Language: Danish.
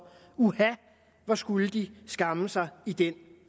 uha hvor skulle de skamme sig i den